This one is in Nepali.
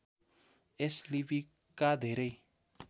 यस लिपिका धेरै